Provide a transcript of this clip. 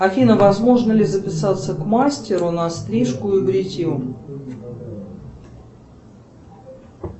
афина возможно ли записаться к мастеру на стрижку и бритье